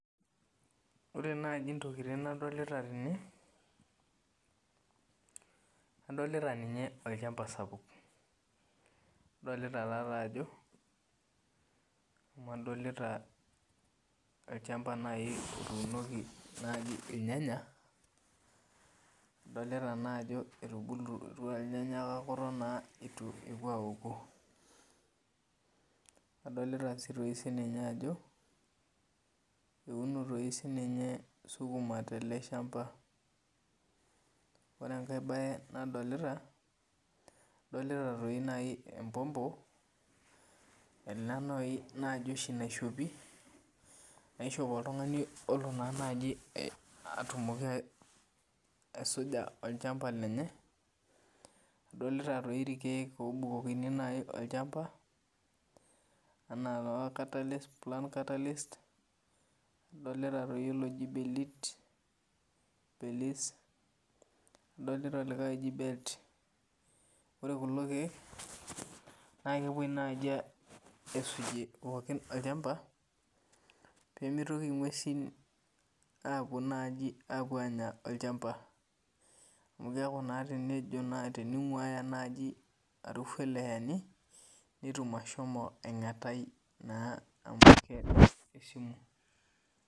Ore naj ntokitin nadolta tene adolita olchamba sapuk adolta ajo adolta olchamba nai otuunoki irnyanya adolta ajo etubulutua irnyanya kake itu epuo aoku adolta sininye ajo eunosininye sukuma teleshamba ore enkae nadolta adolta empompo e a naiboshi naishopi naishop oltungani olo nai atumoki aisuja olchamba lenye adolta irkiek otumokini aisuka olchamba enaa plant catalyst adolta oloji belt ore kulo kiek na kepuoi nai aisujie pokki olchamba pemitoki ngwesi apuo anya olchamba amu keninguaya nai arufu eleshani netum ashomo aingatai amu kengu esumu.